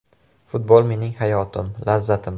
Futbol mening hayotim, lazzatim.